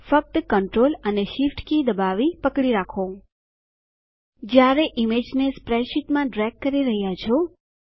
ફક્ત કન્ટ્રોલ અને Shift key દબાવી પકડી રાખો જયારે ઈમેજને સ્પ્રેડશીટમાં ડ્રેગ કરી રહ્યા છો